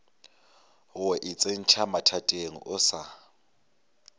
go itsentšha mathateng o sa